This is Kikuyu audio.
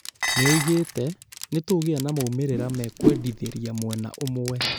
Nĩoigĩte "nĩtũgĩa na maumĩrĩra mekwendithĩria mwena ũmwe"